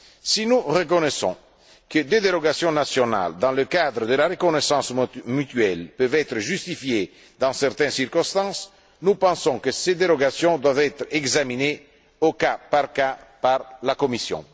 Si nous reconnaissons que des dérogations nationales dans le cadre de la reconnaissance mutuelle peuvent être justifiées dans certaines circonstances, nous pensons que ces dérogations doivent être examinées au cas par cas par la Commission.